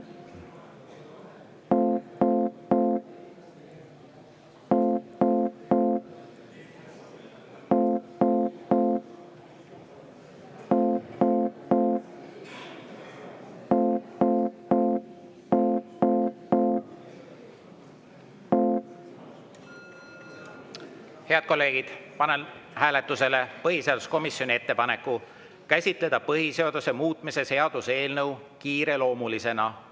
Head kolleegid, panen hääletusele põhiseaduskomisjoni ettepaneku käsitleda põhiseaduse muutmise seaduse eelnõu kiireloomulisena.